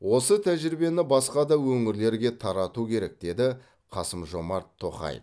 осы тәжірибені басқа да өңірлерге тарату керек деді қасым жомарт тоқаев